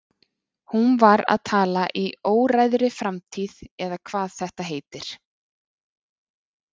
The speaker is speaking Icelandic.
Hún var að tala í óræðri framtíð eða hvað þetta heitir.